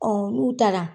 n'u taara